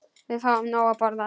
Við fáum nóg að borða.